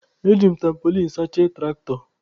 E ji m tampolin sachie tụraktọ.